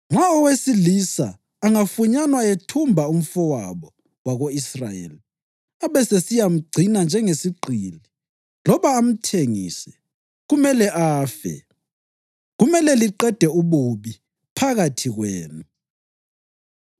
Nxa owesilisa angafunyanwa ethumba umfowabo wako-Israyeli abesesiyamgcina njengesigqili loba amthengise, kumele afe. Kumele liqede ububi phakathi kwenu.